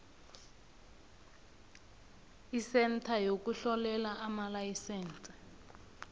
isentha yokuhlolela amalayisense